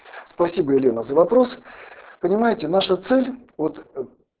спасибо елена за вопрос понимаете наша цель от